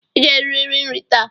I ga-eririri nri taa